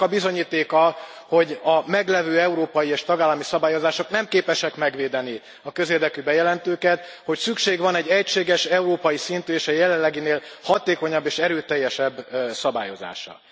Annak a bizonyítéka, hogy a meglevő európai és tagállami szabályozások nem képesek megvédeni a közérdekű bejelentőket, hogy szükség van egy egységes európai szintű és a jelenleginél hatékonyabb és erőteljesebb szabályozásra.